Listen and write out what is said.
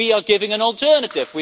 We are giving an alternative.